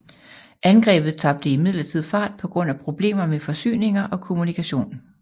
Angrebet tabte imidlertid fart på grund af problemer med forsyninger og kommunikation